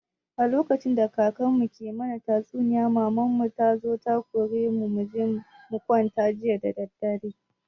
A lokacin da kakan mu ke mana tatsuniya maman mu tazo ta kore mu muje mukwanta jiya dadadare